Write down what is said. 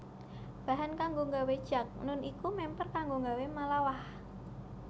Bahan kanggo nggawé jakhnun iku mèmper kanggo nggawé malawakh